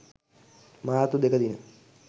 මාර්තු 02 දින